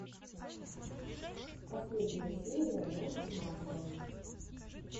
последняя серия насти масловой